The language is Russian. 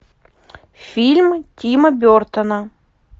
фильм тима бертона